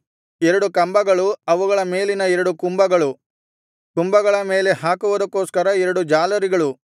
ಎರಡು ಕಂಬಗಳು ಅವುಗಳ ಮೇಲಿನ ಎರಡು ಕುಂಭಗಳು ಕುಂಭಗಳ ಮೇಲೆ ಹಾಕುವುದಕ್ಕೋಸ್ಕರ ಎರಡು ಜಾಲರಿಗಳು